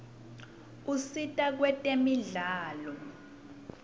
usita kwetemidlalo